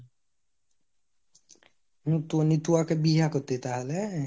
উম তু নি তু ওকে বিহা করতি তাহলে ?